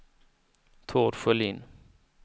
Tord Sjölin